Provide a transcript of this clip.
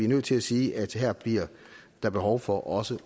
nødt til at sige at her bliver der behov for også